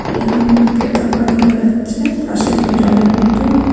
এখানে একটা পোতাকা দেখা যাচ্ছে পাশে একটা জলের বোতল ।